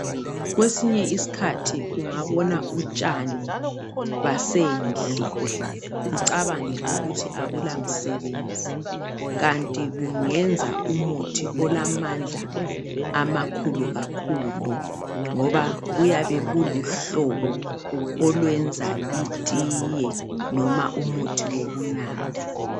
Kwesinye isikhathi ungabona utshani basendle ucabange ukuthi abula msebenzi kanti bungenza umuthi olamandla amakhulu kakhulu ngoba buyabe buluhlobo olwenza itiye noma umuthi wokunatha.